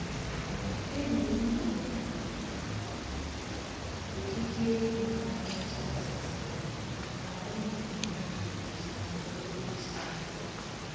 Enyi m gụụrụ m ụdịdị egwu na-akacha amasị ha ka anyị na-eme njem okporo ụzọ anyị.